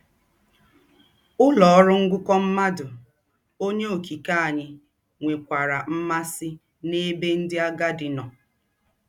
Ụlọ ọrụ ngụkọ mmadụ. Onye Okike anyị nwekwara mmasị n'ebe ndị agadi nọ.